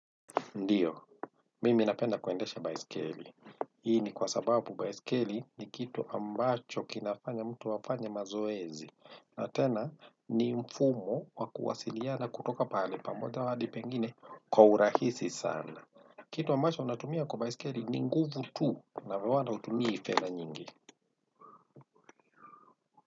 Ndiyo, mimi napenda kuendesha baiskeli. Hii ni kwa sababu baiskeli ni kitu ambacho kinafanya mtu afanye mazoezi. Ata na ni mfumo wa kuwasiliana kutoka pahali pamoja hadi pengine kwa urahisi sana. Kitu ambacho natumia kwa baiskeli ni nguvu tu, na hutumii fedha nyingi.